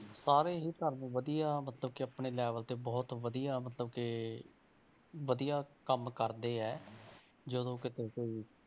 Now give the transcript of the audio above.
ਸਾਰੇ ਹੀ ਧਰਮ ਵਧੀਆ ਮਤਲਬ ਕਿ ਆਪਣੇ level ਤੇ ਬਹੁਤ ਵਧੀਆ ਮਤਲਬ ਕਿ ਵਧੀਆ ਕੰਮ ਕਰਦੇ ਹੈ, ਜਦੋਂ ਕਿਤੇ ਕੋਈ